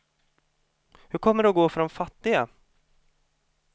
Hur kommer det att gå för de fattiga?